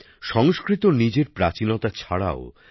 সংস্কৃত নিজের প্রাচীনতা ছাড়াও তার